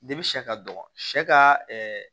sɛ ka dɔgɔ sɛ ka